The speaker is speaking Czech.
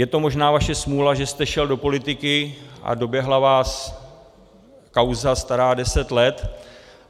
Je to možná vaše smůla, že jste šel do politiky a doběhla vás kauza stará deset let.